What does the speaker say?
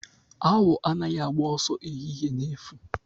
Awọ anaghị agba ọsọ ehihie na efu.